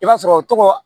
I b'a sɔrɔ o tɔgɔ